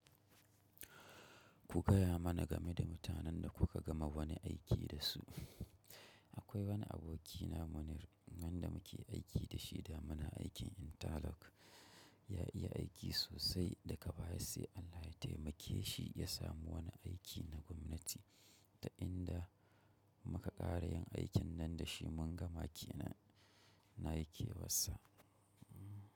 Ku gaya mana game da mutanen da kuka gama wani aiki da su. Akwai wani abokina Munir wanda muke aiki da shi da muna aikin Interlock. Ya iya aiki sosai da kabaya sai Allah ya taimake shi ya samu wani aiki na gwamnati da inda muka ƙara yin aikin nan da shi mun gama ke nan nayi kewassa.